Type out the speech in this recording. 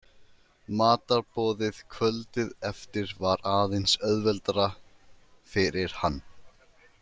Matarboðið kvöldið eftir var aðeins auðveldara fyrir hann.